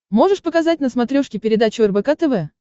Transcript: можешь показать на смотрешке передачу рбк тв